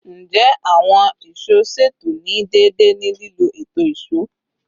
Njẹ awọn ìṣó ṣeto ni deede ni lilo eto ìṣó?